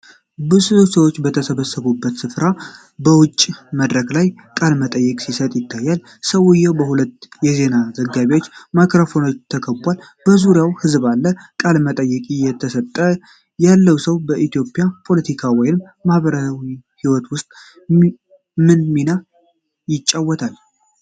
ብዙ ሰዎች በተሰበሰቡበት ሥፍራ በውጭ መድረክ ላይ ቃለ መጠይቅ ሲሰጥ ይታያል። ሰውየው በሁለት የዜና ዘጋቢዎች ማይክሮፎን ተከቧል፤ በዙሪያውም ሕዝብ አለ። ቃለ መጠይቅ እየሰጠ ያለው ሰው በኢትዮጵያ ፖለቲካ ወይም ማህበራዊ ህይወት ውስጥ ምን ሚና ይጫወታል?